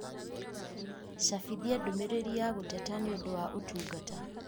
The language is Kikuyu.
cabithia ndũmĩrĩri ya gũteta niũundu wa ũtungata